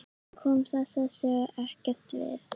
Hann kom þessari sögu ekkert við.